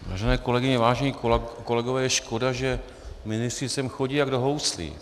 Vážené kolegyně, vážení kolegové, je škoda, že ministři sem chodí jak do houslí.